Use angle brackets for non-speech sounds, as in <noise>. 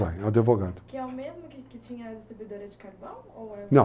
<unintelligible> advogado. Que é o mesmo que que tinha a distribuidora de carvão? ou é, não!